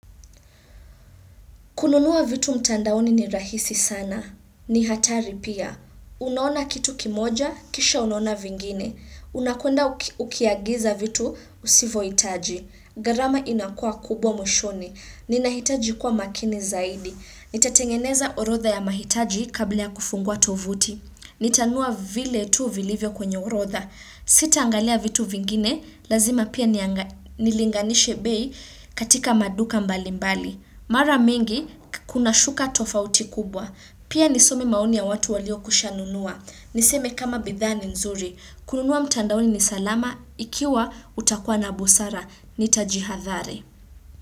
Kununua vitu mtandaoni ni rahisi sana. Ni hatari pia. Unaona kitu kimoja, kisha unaona vingine. Unakwenda ukiagiza vitu usivyohitaji. Gharama inakuwa kubwa mwishoni. Ninahitaji kuwa makini zaidi. Nitatengeneza orodha ya mahitaji kabla ya kufungua tovuti. Nitanunua vile tuu vilivyo kwenye orodha. Sitaangalia vitu vingine, lazima pia nianga nilinganishe bei katika maduka mbalimbali. Mara mingi, kuna shuka tofauti kubwa. Pia nisome maoni ya watu waliokwishanunua Niseme kama bidhaa ni nzuri. Kununua mtandaoni ni salama, ikiwa utakua na busara. Nitajihadhari.